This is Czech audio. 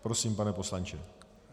Prosím, pane poslanče.